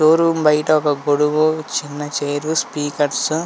show room బయట ఒక గొడుగు చిన్న చైర్ స్పీకర్స్ --